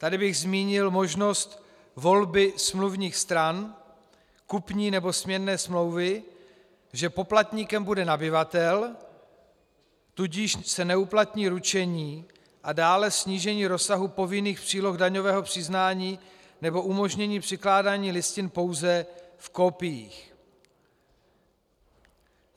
Tady bych zmínil možnost volby smluvních stran kupní nebo směnné smlouvy, že poplatníkem bude nabyvatel, tudíž se neuplatní ručení, a dále snížení rozsahu povinných příloh daňového přiznání nebo umožnění přikládání listin pouze v kopiích.